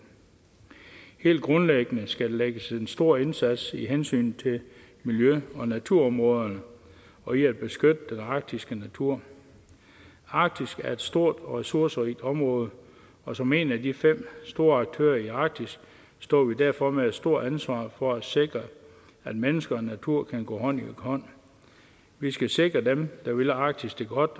helt grundlæggende skal der lægges en stor indsats i hensynet til miljøet og naturområderne og i at beskytte den arktiske natur arktis er et stort og ressourcerigt område og som en af de fem store aktører i arktis står vi derfor med et stort ansvar for at sikre at mennesker og natur kan gå hånd i hånd vi skal sikre at dem der vil arktis det godt